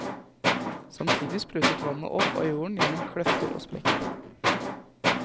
Samtidig sprutet vannet opp av jorden gjennom kløfter og sprekker.